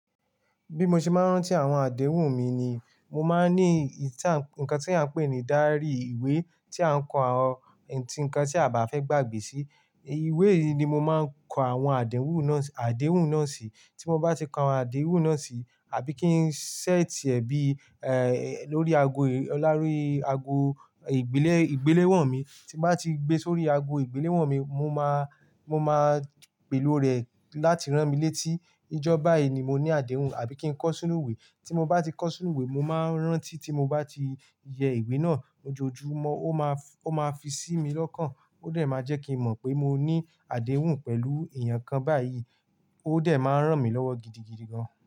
Bí mo ṣe máa ń rántí àwọn àdéhùn mi ni, mo máa ń ní nǹkan tí a ń pè ní ìdarí ìwé tí à ń kọ àwọn, àwọn nǹkan tí a bá fẹ́ gbàgbé sí. Ìwé yìí ni mo máa ń kọ àwọn àdéhùn náà, àdéhùn náà sí. Tí mo bá ti kọ awon àdéhùn náà sí, àbí kí n ṣẹ́ẹ̀tì ẹ bí, ẹ, lórí ago, lórí ago ìgbélé, ìgbéléwọ̀n mi. Tí mo bá ti gbé sórí ago ìgbéléwọ̀n mi, mo máa, mo máa pèlo rẹ̀ láti rán mi létí. Ijọ bayìí ni mo ní àdéhùn, àbí kí n kọ sínú ìwé. Tí mo bá ti kọ sínú ìwé, mo máa ń rántí tí mo bá ti yẹ ìwé náà ojoojúmọ́. Ó máa, ó máa fi sí mi lọ́kàn. Ó dẹ̀ máa jẹ́ kí n mọ̀ pé mo ní àdéhùn pẹ̀lú èèyàn kan báyìí. Ó dẹ̀ máa ń ràn mí lọ́wọ́ gidigidi gan.